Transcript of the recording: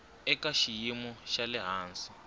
eka xiyimo xa le hansi